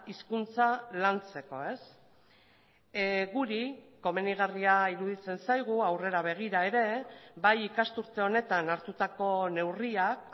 hizkuntza lantzeko guri komenigarria iruditzen zaigu aurrera begira ere bai ikasturte honetan hartutako neurriak